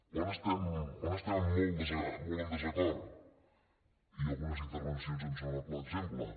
on estem molt en desacord i algunes intervencions en són el clar exemple